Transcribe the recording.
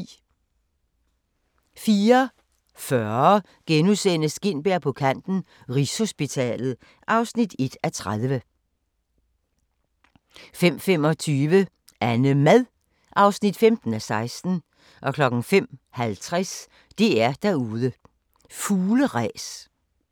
04:40: Gintberg på kanten - Rigshospitalet (1:30)* 05:25: AnneMad (15:16) 05:50: DR-derude: Fugleræs